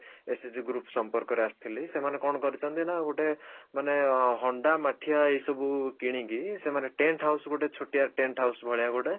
SHG group ସମ୍ପର୍କରେ ଆସିଥିଲି ସେମାନେ କଣ କରିଛନ୍ତି ନା ଗୋଟେ ମାନେ ହଣ୍ଡା ମାଠିଆ ଏଇ ସବୁ କିଣିକି ସେମାନେ tent house ଗୋଟେ ଛୋଟିଆ tent house ଭଳିଆ